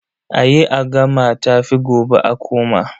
A yi a gama tafi gobe a koma.